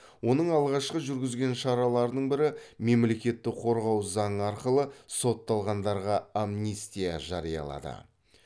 оның алғашқы жүргізген шараларының бірі мемлекетті қорғау заңы арқылы сотталғандарға амнистия жариялады